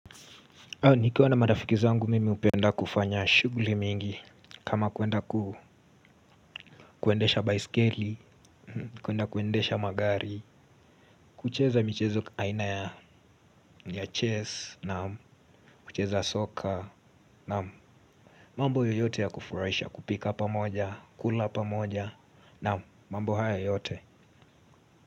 Nikiwa na marafiki zangu mimi hupenda kufanya shughuli mingi. Kama kuenda ku kuendesha baiskeli kwenda kuendesha magari kucheza michezo aina ya chess kucheza soccer mambo yoyote ya kufuraisha kupika pa moja kula pamoja mambo haya yote.